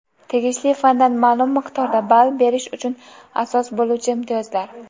tegishli fandan ma’lum miqdorda ball berish uchun asos bo‘luvchi imtiyozlar.